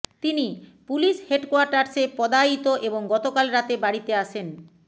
তিনি পুলিশ হেডকোয়ার্টার্সে পদায়িত এবং গতকাল রাতে বাড়িতে আসেন